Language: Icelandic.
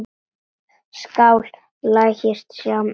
Skál, lagsi, sjáumst efra.